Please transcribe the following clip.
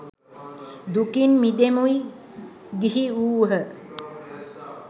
දුකින් මිදෙමුයි ගිහි වූහ.